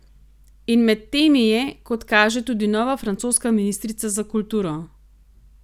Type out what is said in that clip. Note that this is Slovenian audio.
In med temi je, kot kaže, tudi nova francoska ministrica za kulturo.